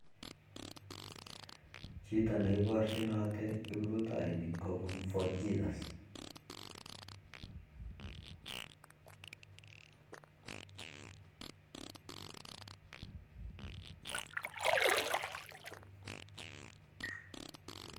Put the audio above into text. Chito nee ibarchinatii kiprutainik kopun Fort Jesus